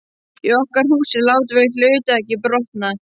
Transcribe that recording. Í okkar húsi látum við hluti ekki brotna.